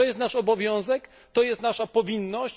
To jest nasz obowiązek, to jest nasza powinność.